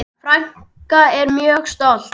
Frænka er mjög stolt.